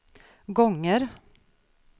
gånger